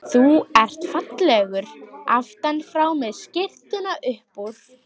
Þú ert fallegur aftan frá með skyrtuna upp úr.